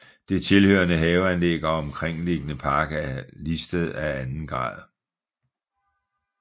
Det tilhørende haveanlæg og omkringliggende park er listed af anden grad